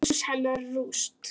Hús hennar rúst.